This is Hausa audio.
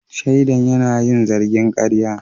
Shaidan yana yin zargin karya.